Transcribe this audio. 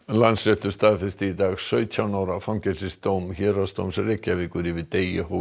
Landsréttur staðfesti í dag sautján ára fangelsisdóm Héraðsdóms Reykjavíkur yfir Degi